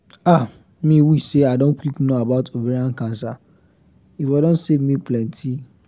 ah me wish say i don quick know about ovarian cancer e for don save me plenty